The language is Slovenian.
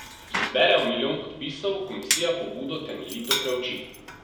Če zberejo milijon podpisov, komisija pobudo temeljito preuči.